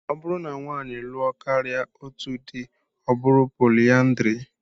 Ọ bụrụ na nwaanyị lụọ karịa otú dị, ọ bụ poliandrị